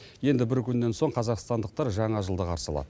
енді бір күннен соң қазақстандықтар жаңа жылды қарсы алады